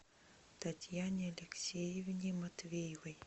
татьяне алексеевне матвеевой